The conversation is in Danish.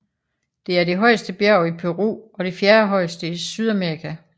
Det er det højeste bjerg i Peru og det fjerdehøjeste i Sydamerika